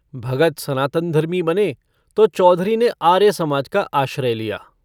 भगत सनातनधर्मी बने तो चौधरी ने आर्य समाज का आश्रय लिया।